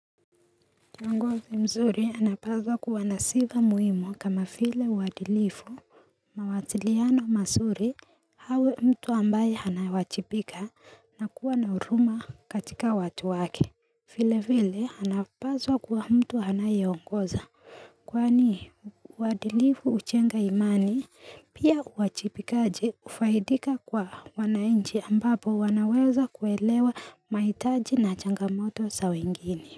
Ngozi mzuri anapazwa kuwa nasiva muhimu kama file uwadilifu, mawasiliano masuri awe mtu ambaye ana wachibika na kuwa nauruma katika watu wake file vile anapazwa kuwa mtu anayengoza Kwani uwadilifu uchenga imani pia uwajibikaji kufaidika kwa wanainchi ambapo wanaweza kuelewa maitaji na changamoto sawengine.